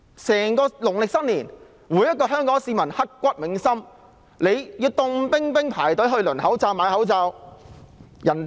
在整段農曆新年期間，每位香港市民也刻骨銘心，冒着寒冷天氣輪候購買口罩。